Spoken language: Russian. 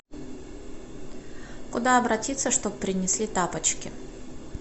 куда обратиться чтобы принесли тапочки